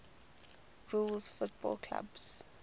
rules football clubs